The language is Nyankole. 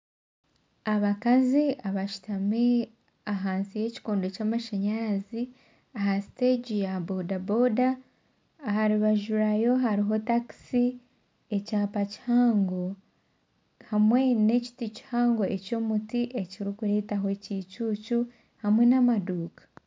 Abakazi abashutami ahansi yekikondo kyamashanyaraziaha steegi ya bodaboda aha rubaju rwayo hariho takisi ekyapa kihango hamwe n'emiti kihango eky'omuti ekirikureetaho ekiicucu hamwe n'amaduuka